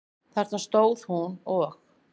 Þarna stóð hún og.